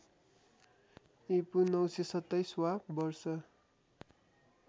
ईपू ९२७ वा वर्ष